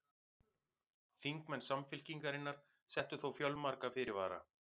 Þingmenn Samfylkingarinnar settu þó fjölmarga fyrirvara